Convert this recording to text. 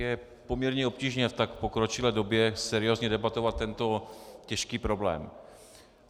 Je poměrně obtížné v tak pokročilé době seriózně debatovat tento těžký problém.